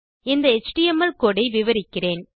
இந்த HTML code ஐ விவரிக்கிறேன்